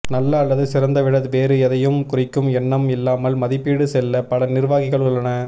நல்ல அல்லது சிறந்த விட வேறு எதையும் குறிக்கும் எண்ணம் இல்லாமல் மதிப்பீடு செல்ல பல நிர்வாகிகள் உள்ளன